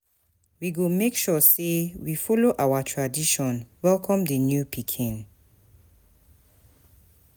We go make sure sey we folo our tradition welcome di new pikin.